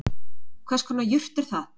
Hvers konar jurt er það